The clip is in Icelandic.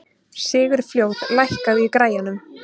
Sigurfljóð, lækkaðu í græjunum.